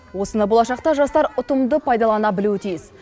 осыны болашақта жастар ұтымды пайдалана білуі тиіс